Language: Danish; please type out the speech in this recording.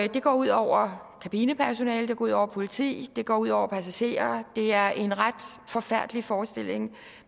det går ud over kabinepersonalet ud over politiet det går ud over passagererne det er en ret forfærdelig forestilling